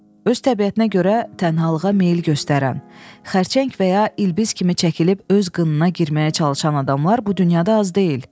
Öz təbiətinə görə tənhalığa meyl göstərən, xərçəng və ya ilbiz kimi çəkilib öz qınına girməyə çalışan adamlar bu dünyada az deyil.